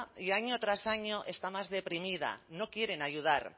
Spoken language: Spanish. y año tras año está más deprimida no quieren ayudar